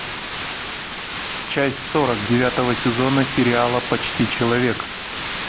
часть сорок девятого сезона сериала почти человек